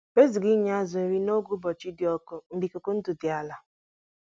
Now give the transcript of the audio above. Enyekwala azụ nri n'oge oke um okpomọkụ ikuku nadịmachaghị